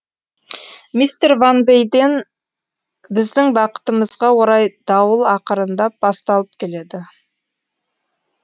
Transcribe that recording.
мистер ван вэйден біздің бақытымызға орай дауыл ақырындап басталып келеді